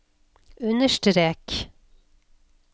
understrek